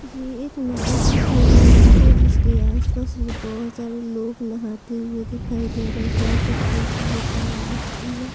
ये एक नदी की सीन लग रही है जिसके आस-पास बहुत सारे लोग नहाते हुए दिखाई दे रहे हैं कह सकते है कि ये तालाब भी है।